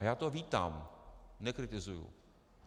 A já to vítám, nekritizuji.